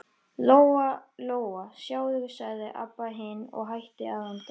Lóa-Lóa, sjáðu, sagði Abba hin og hætti að anda.